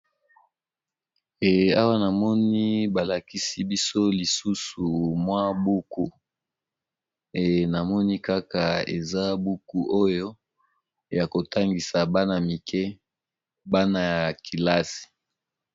Eh awa namoni ba lakisi biso lisusu mwa buku, eeh namoni kaka eza buku oyo ya kotangisa bana mike bana ya kilasi.